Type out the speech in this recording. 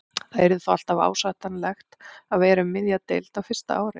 Það yrði þó alltaf ásættanlegt að vera um miðja deild á fyrsta ári.